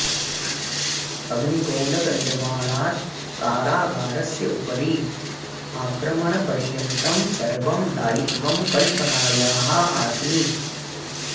अग्निगोलकनिर्माणात् कारागारस्य उपरि आक्रमणपर्यन्तं सर्वं दायित्वं कल्पनायाः आसीत्